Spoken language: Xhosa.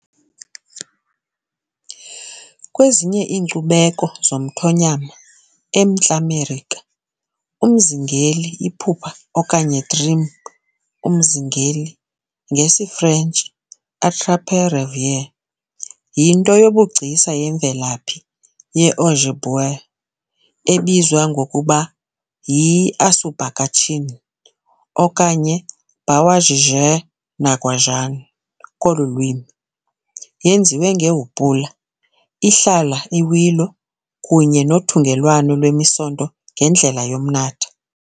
Kwezinye iinkcubeko zomthonyama eMntla Melika, umzingeli iphupha okanye dream umzingeli, ngesiFrentshi - Attrape-rêve, yinto yobugcisa yemvelaphi ye-Ojibwe, ebizwa ngokuba yi-"asubakatchin" okanye "bawajige nagwaagan" kolu lwimi, yenziwe ngehupula, ihlala i- willow, kunye nothungelwano lwemisonto ngendlela yomnatha.